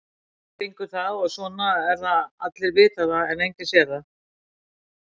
Svona gengur það og svona er það allir vita það en enginn sér það.